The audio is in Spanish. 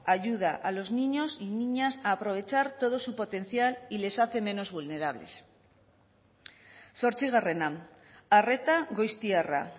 ayuda a los niños y niñas a aprovechar todo su potencial y les hace menos vulnerables zortzigarrena arreta goiztiarra